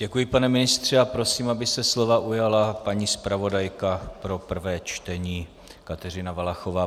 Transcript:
Děkuji, pane ministře, a prosím, aby se slova ujala paní zpravodajka pro prvé čtení Kateřina Valachová.